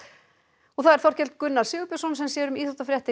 og það er Þorkell Gunnar Sigurbjörnsson sem segir íþróttafréttir